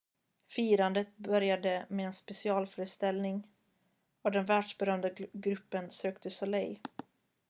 firandet började med en specialföreställning av den världsberömda gruppen cirque du soleil